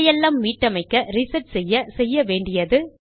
இதை எல்லாம் மீட்டமைக்க reset செய்ய - செய்யவேண்டியது